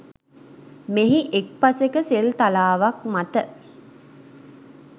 මෙහි එක් පසෙක සෙල් තලාවක් මත